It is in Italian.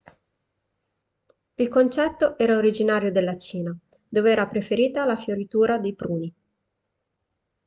il concetto era originario della cina dove era preferita la fioritura dei pruni